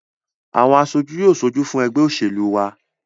Àwọn aṣojú yóò ṣojú fún ẹgbẹ́ òṣèlú wa